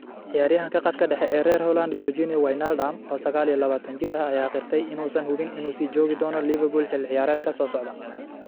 Ciyaaryahanka khadka dhexe ee reer Holland Georginio Wijnaldum, oo sagal iyo labatan jir ah, ayaa qirtay inuusan hubin inuu sii joogi doono Liverpool xilli ciyaareedka soo socda.